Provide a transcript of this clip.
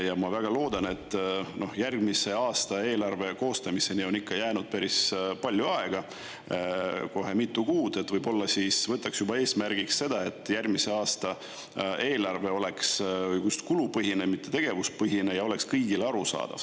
Ja ma väga loodan – järgmise aasta eelarve koostamiseni on jäänud päris palju aega, kohe mitu kuud –, et võib-olla võtaks juba eesmärgiks selle, et järgmise aasta eelarve oleks just kulupõhine, mitte tegevuspõhine, ja oleks kõigile arusaadav.